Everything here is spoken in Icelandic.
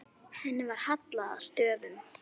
Henni var hallað að stöfum.